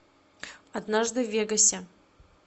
однажды в вегасе